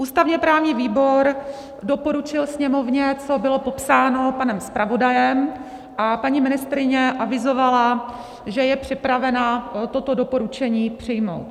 Ústavně-právní výbor doporučil Sněmovně, co bylo popsáno panem zpravodajem, a paní ministryně avizovala, že je připravena toto doporučení přijmout.